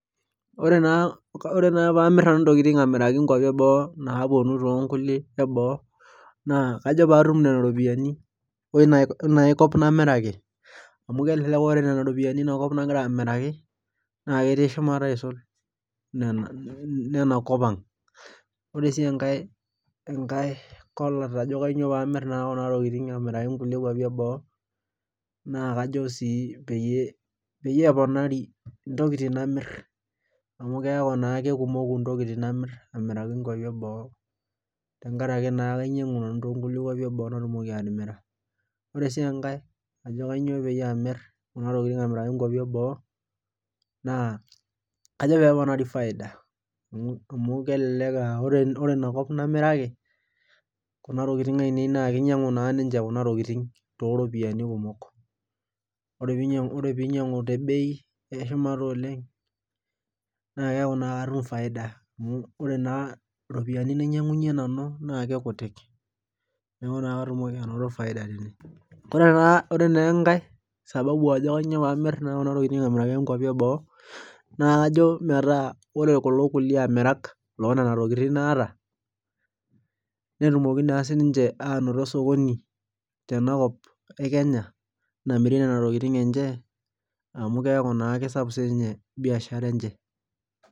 Ore naa pee amir nanu ntokitin aamiraki nkuapi eboo, naapuonu too nkuapi eboo naa kajo pee aatum Nena ropiyiani eina kop naamiraki. amu elelek aa tenetum Nena ropiyiani eina kop nagira amiaraki, naa ketii shumata aisulu inena kop ang'.ore sii enkae kolat ajo kainyioo pee amir Kuna tokitin, aamiraki nkuapi. eboo. naa kajo sii peyie keponari, ntokitin namir Amu keeku taa keponaei ntokitin namir, aamiraki nkuapi eboo . tenkaraki naa kinyiang'u nanu too nkuapi eboo naatumoki atimira. ore sii enkae, kainyioo peyie amir Kuna tokitin aamiraki nkuapi eboo naa, kajo pee keponari faida. amu, kelelek aa ore Ina kop naamiraki Kuna tokitin ainei, naa kinyiang'u naa niche Kuna tokitin tooropiyiani, kumok. ore pee inyiang'u, te bei eshumata oleng, naakeeku naa katym faida .amu ore naa ropiyiani nainyiangunye nanah naa kikututik. neeku naa katumoki anoto faida. naa kajo metaa ore kulo kulie amirak loo Nena tokitin naata, netumoki naa sii ninche aanoto osokoni tena kop Kenya.